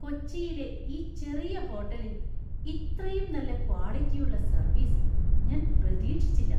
കൊച്ചിയിലെ ഈ ചെറിയ ഹോട്ടലിൽ ഇത്രയും നല്ല ക്വാളിറ്റിയുള്ള സർവീസ് ഞാൻ പ്രതീക്ഷിച്ചില്ല!